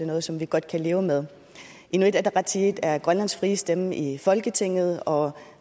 noget som vi godt kan leve med inuit ataqatigiit er grønlands frie stemme i folketinget og